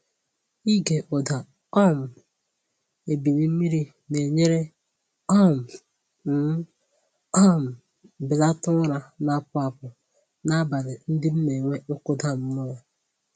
Ịge ụda um ebili mmiri na-enyere um m um belata ụra na-apụ apụ n’abalị ndị m na-enwe nkụda mmụọ.